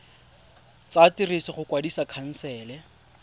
tsa ditiro go kwadisa khansele